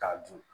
K'a dun